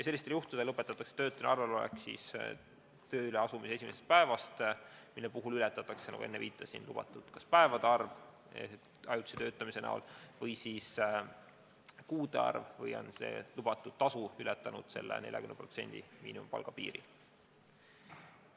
Sellistel juhtudel lõpetatakse töötuna arvel olek tööle asumise esimesest päevast, mille puhul ületatakse, nagu enne viitasin, kas lubatud päevade arv ajutise töötamise näol või siis kuude arv või on tasu ületanud 40% miinimumpalga piiri.